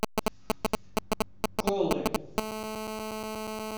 колы